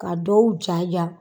Ka dɔw jaja.